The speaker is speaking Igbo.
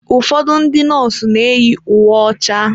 Ụfọdụ ndị nọọsụ na-eyi uwe ọcha.